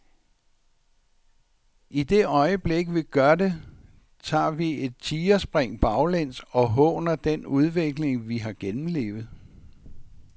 I det øjeblik vi gør det, tager vi et tigerspring baglæns og håner den udvikling vi har gennemlevet.